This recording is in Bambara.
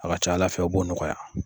A ka ca ala fɛ u b' o nɔgɔya.